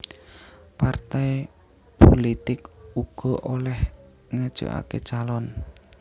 Partai pulitik uga olèh ngajokaké calon